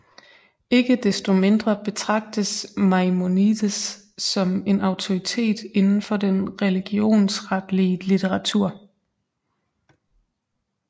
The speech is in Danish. Ikke desto mindre betragtes Maimonides som en autoritet inden for den religionsretlige litteratur